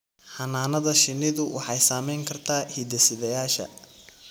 Xannaanada shinnidu waxay saamayn kartaa hidde-sideyaasha.